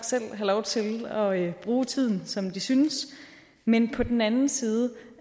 have lov til at bruge tiden som de selv synes men på den anden side